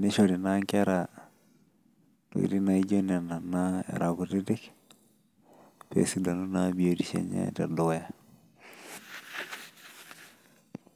nishori naa inkera naijo nena naa era kutitik pee esidanu naa biotisho enye tedukuya.